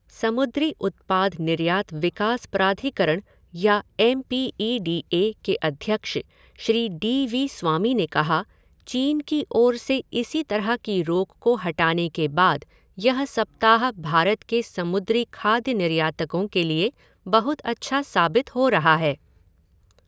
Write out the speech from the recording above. समुद्री उत्पाद निर्यात विकास प्राधिकरण या M P E D A के अध्यक्ष श्री डी वी स्वामी ने कहा, चीन की ओर से इसी तरह की रोक को हटाने के बाद यह सप्ताह भारत के समुद्री खाद्य निर्यातकों के लिए बहुत अच्छा साबित हो रहा है।